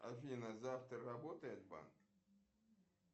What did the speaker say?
афина завтра работает банк